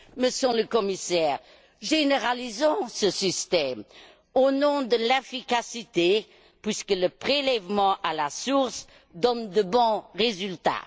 Monsieur le Commissaire, généralisons ce système, au nom de l'efficacité, puisque le prélèvement à la source donne de bons résultats.